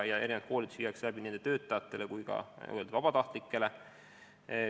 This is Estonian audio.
Erinevad koolitused viiakse läbi nii nende töötajatele kui ka vabatahtlikele.